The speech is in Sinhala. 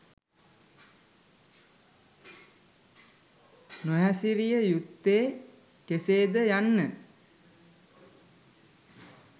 නොහැසිරිය යුත්තේ කෙසේද යන්න